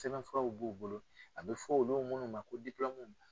Sɛbɛnfuraw b'u bolo a bɛ fɔ olu minnu ma ko .